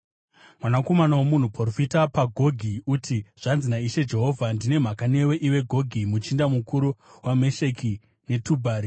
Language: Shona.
“Mwanakomana womunhu, profita pamusoro paGogi, uti, ‘Zvanzi naIshe Jehovha: Ndine mhaka newe, iwe Gogi, muchinda mukuru weMesheki neTubhari.